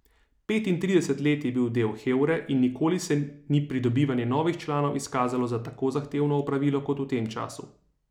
Petintrideset let je bil del hevre in nikoli se ni pridobivanje novih članov izkazalo za tako zahtevno opravilo kot v tem času.